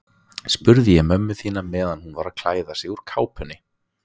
spurði ég mömmu þína meðan hún var að klæða sig úr kápunni.